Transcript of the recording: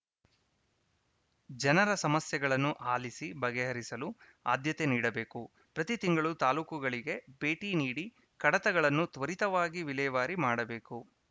ಜನರ ಸಮಸ್ಯೆಗಳನ್ನು ಆಲಿಸಿ ಬಗೆಹರಿಸಲು ಆದ್ಯತೆ ನೀಡಬೇಕು ಪ್ರತಿ ತಿಂಗಳು ತಾಲೂಕುಗಳಿಗೆ ಭೇಟಿ ನೀಡಿ ಕಡತಗಳನ್ನು ತ್ವರಿತವಾಗಿ ವಿಲೇವಾರಿ ಮಾಡಬೇಕು